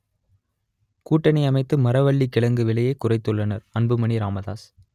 கூட்டணி அமைத்து மரவள்ளிக் கிழங்கு விலையை குறைத்துள்ளனர் அன்புமணி ராமதாஸ்